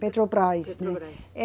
Petrobras. Petrobras. É